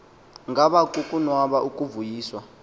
ngaba kukonwaba ukuvuyiswa